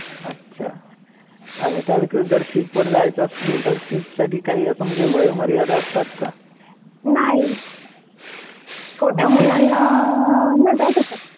अच्छा. आणि त्या व्यतिरिक्त जर शिपवर जायचं असेल तर त्यासाठी काय असं वयोमर्यादा असतात का? नाही. छोट्या मुलांना. नाही जाऊ देतात .